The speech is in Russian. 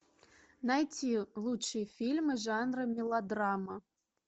найти лучшие фильмы жанра мелодрама